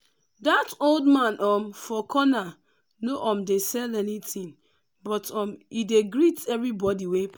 that old man um for corner no um dey sell anything but um e dey greet everybody wey pass.